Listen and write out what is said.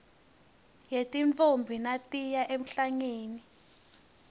yetintfombi natiya emhlangeni